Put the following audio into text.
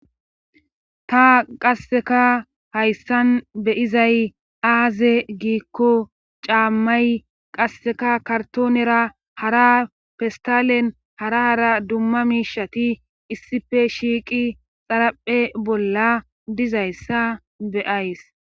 Ta qasseka hayssan beyizay aaze giikko caammay qasseka kartoonera hara festalen hara hara dumma miishati issife shiiqi xaraphe bolla dizayssa beyays.